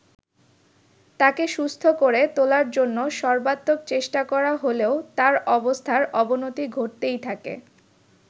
তাকে সুস্থ করে তোলার জন্য সর্বাত্মক চেষ্টা করা হলেও তার অবস্থার অবনতি ঘটতেই থাকে।